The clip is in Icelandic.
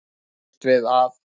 Það er ekki laust við að